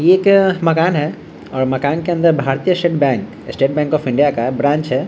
ये एक मकान है और मकान के अंदर भारतीय state bank state bank of India का ब्रांच है।